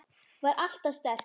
Var alltaf sterk.